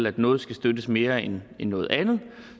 at noget skulle støttes mere end noget andet